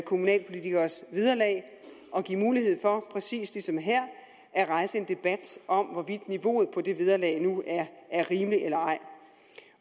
kommunalpolitikeres vederlag og giver mulighed for præcis ligesom her at rejse en debat om hvorvidt niveauet for det vederlag nu er rimeligt eller ej